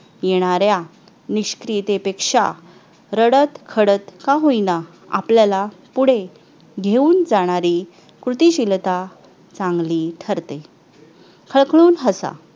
येणाऱ्या निष्क्रियतेपेक्षा रडत खडत का होईना आपल्याला पुढे घेऊन जाणारी कृतीशीलता चांगली ठरते खळखळून हसा